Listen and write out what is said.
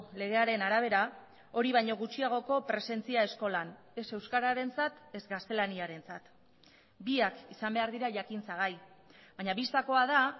legearen arabera hori baino gutxiagoko presentzia eskolan ez euskararentzat ez gaztelaniarentzat biak izan behar dira jakintzagai baina bistakoa da